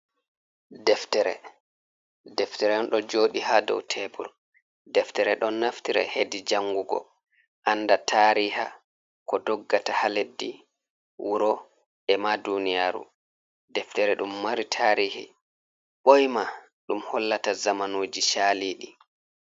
Deftere, deftere on do jodi ha dow tebur deftere don naftira hedi jangugo anda tariha ko doggata ha leddi, wuro, e ma duniyaru deftere dum mari tarihi boyma dum hollata zamanuji chalidi.